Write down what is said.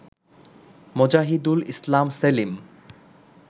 Mozahidul Islam Selim